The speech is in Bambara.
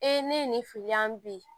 ne ye nin fili an bi